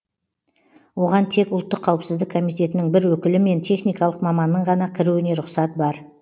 оған тек ұлттық қауіпсіздік комитетінің бір өкілі мен техникалық маманның ғана кіруіне рұқсат бар